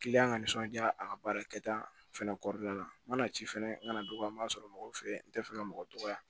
ka nisɔndiya a ka baara kɛta fɛnɛ kɔrɔla la n mana ci fɛnɛ n kana dɔgɔya n m'a sɔrɔ mɔgɔ fɛ n tɛ fɛ ka mɔgɔ dɔgɔya